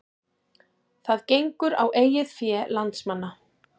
Það gengur á eigið fé landsmanna